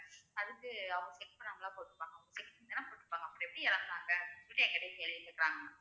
அதுக்கு அவங்க check பண்ணாமலா போட்டுப்பாங்க check பண்ணி தானே போட்டுருப்பாங்க அப்புறம் எப்படி இறந்தாங்க சொல்லிட்டு என்கிட்டயே கேள்வி கேக்குறாங்க ma'am